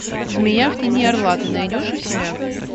змея в тени орла ты найдешь у себя